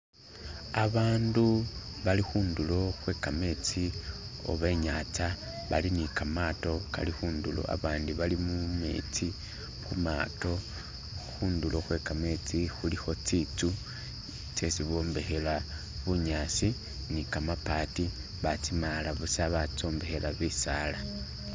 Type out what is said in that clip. Abantu bali khundulo khwe kametsi oba inyantsa bali nikamaato kali kundulo, abandi bali mumetsi mumaato khundulo khwe kametsi khulikho tsinzu tsesi bombekhela bunyasi ni kamabati batsimaala busa batsombekhela bisaala.